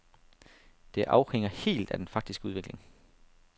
Det afhænger helt af den faktiske udvikling.